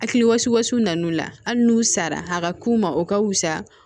Hakilisu nana u la hali n'u sara a ka k'u ma o ka wusa